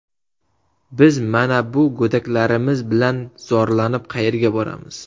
Biz mana bu go‘daklarimiz bilan zorlanib qayerga boramiz.